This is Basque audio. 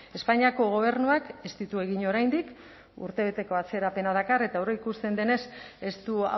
espainiako gobernuak ez ditu egin oraindik urtebeteko atzerapena dakar eta aurreikusten denez ez du